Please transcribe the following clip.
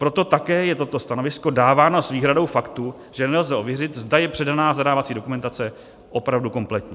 Proto také je toto stanovisko dáváno s výhradou faktů, že nelze ověřit, zda je předaná zadávací dokumentace opravdu kompletní.